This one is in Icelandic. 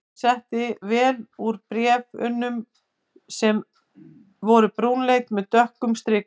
Hann sletti vel úr bréf- unum sem voru brúnleit með dökkrauðum strikum.